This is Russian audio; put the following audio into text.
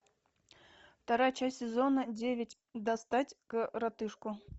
вторая часть сезона девять достать коротышку